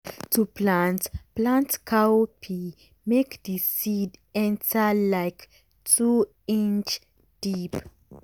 to plant plant cowpea make d seed enter like two inch deep.